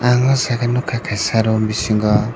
ang oh jaga nukha kaisa room bisingo.